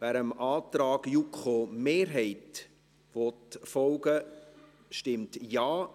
Wer dem Antrag der JuKo-Mehrheit folgen will, stimmt Ja,